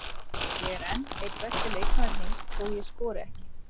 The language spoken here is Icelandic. Ég er enn einn besti leikmaður heims þó ég skori ekki.